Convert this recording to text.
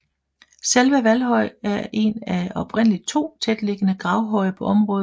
Selve Valhøj er en af oprindeligt 2 tætliggende gravhøje på området